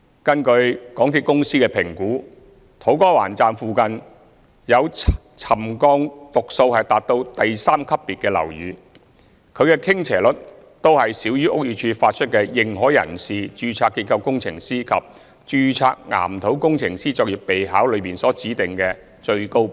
根據港鐵公司的評估，土瓜灣站附近有沉降讀數達到第三級別的樓宇，其傾斜率均少於屋宇署發出的"認可人士、註冊結構工程師及註冊岩土工程師作業備考"中所指定的最高指標。